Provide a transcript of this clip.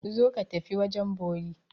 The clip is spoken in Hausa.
Zo ka tafi wajen bori!